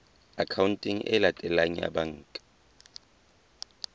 akhaonteng e latelang ya banka